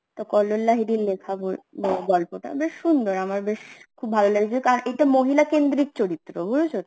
তো কল্লোল লাহিড়ীর লেখা গ~ গল্পটা বেশ সুন্দর আমার বেশ খুব ভালো লেগেছিল কারণ এটা মহিলা কেন্দ্রিক চরিত্র বুঝেছো তো